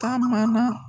Taa mana